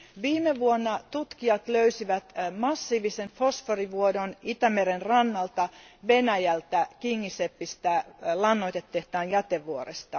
Viime vuonna tutkijat löysivät massiivisen fosforivuodon Itämeren rannalta, Venäjältä Kingiseppistä, lannoitetehtaan jätevuoresta.